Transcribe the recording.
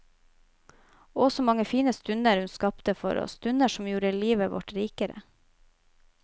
Å, så mange fine stunder hun skapte for oss, stunder som gjorde livet vårt rikere.